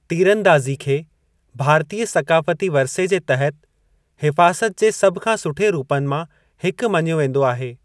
तीरंदाज़ी खे भारतीय सक़ाफ़ती वरिसे जे तहत हिफ़ाज़तु जे सभु खां सुठे रूपनि मां हिकु मञियो वेंदो आहे।